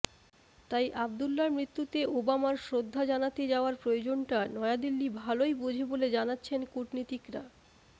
তাই আবদুল্লার মৃত্যুতে ওবামার শ্রদ্ধা জানাতে যাওয়ার প্রয়োজনটা নয়াদিল্লি ভালই বোঝে বলে জানাচ্ছেন কূটনীতিকেরা